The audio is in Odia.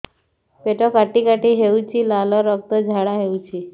ପେଟ କାଟି କାଟି ହେଉଛି ଲାଳ ରକ୍ତ ଝାଡା ହେଉଛି